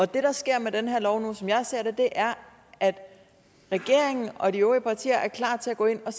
det der sker med den her lov nu som jeg ser det er at regeringen og de øvrige partier er klar til at gå ind og